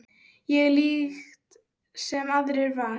Ég líkt sem aðrir var.